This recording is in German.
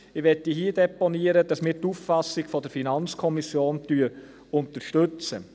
Ich möchte hier deponieren, dass wir die Auffassung der FiKo unterstützen.